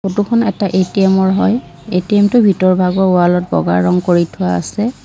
ফটোখন এটা এ_টি_এম ৰ হয় এ_টি_এম টোৰ ভিতৰ ভাগৰ ৱাললত বগা ৰং কৰি থোৱা আছে।